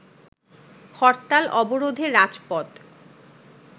হরতাল-আবরোধে রাজপথ